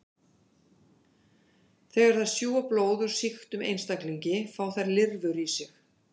Þegar þær sjúga blóð úr sýktum einstaklingi fá þær lirfur í sig.